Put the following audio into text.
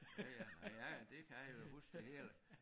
Ja ja men ja ja det kan jeg jo huske det hele